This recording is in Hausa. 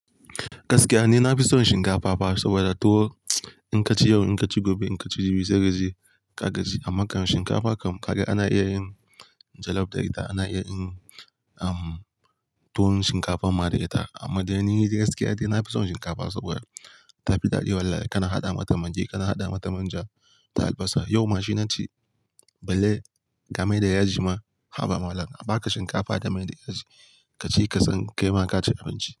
Gaskiya ni na i son shinkafa fa. Sabida tuwo in ka ci yau, in ka ci gobe, in ka ci jibi kaji ka gaji. Amma kan shinkafa kam kaga ana iya yin jollof da ita, ana iya yin, um, tuwon shinkafan ma da ita. Amma dai ni gaskiya dai, nafi son shinkafa sabida ta fi daɗi. Wallahi kana haɗa mata magi, kana haɗa mata manja da albasa. Yau ma shi na ci, balle ga mai da yaji ma, haba malam. A baka shinkafa da mai da yaji, kaci ka san kai ma ka ci abinci.